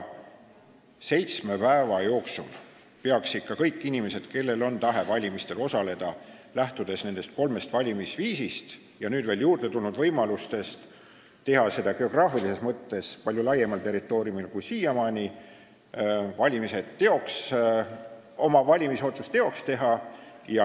Seitsme päeva jooksul peaksid ikka kõik inimesed, kellel on tahe valimistel osaleda, lähtudes nendest kolmest valimisviisist ja nüüd veel juurde tulnud võimalustest teha seda geograafilises mõttes palju laiemal territooriumil kui siiamaani, saama oma valimisotsuse teoks teha.